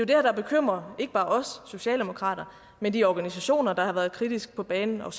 det her der bekymrer ikke bare os socialdemokrater men de organisationer der har været kritisk på banen og